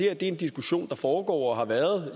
er en diskussion der foregår og har været